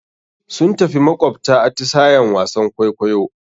Sun tafi makawabta, atisayen wasan kwaikwayo.